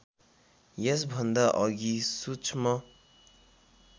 यसभन्दा अघि सूक्ष्म